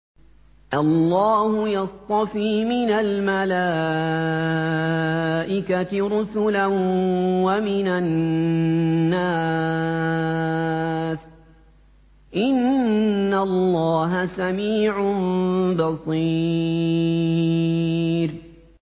اللَّهُ يَصْطَفِي مِنَ الْمَلَائِكَةِ رُسُلًا وَمِنَ النَّاسِ ۚ إِنَّ اللَّهَ سَمِيعٌ بَصِيرٌ